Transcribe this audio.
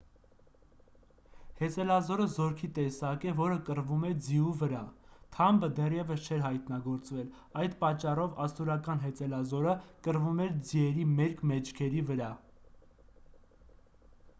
հեծելազորը զորքի տեսակ է որը կռվում է ձիու վրա թամբը դեռևս չէր հայտնագործվել այդ պատճառով ասորական հեծելազորը կռվում էր ձիերի մերկ մեջքերի վրա